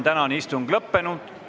Tänane istung on lõppenud.